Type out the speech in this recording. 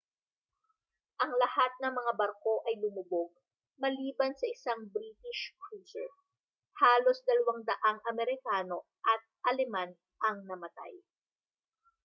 ang lahat ng mga barko ay lumubog maliban sa isang british cruiser halos 200 amerikano at aleman ang namatay